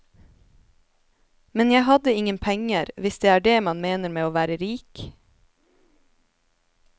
Men jeg hadde ingen penger, hvis det er det man mener med å være rik.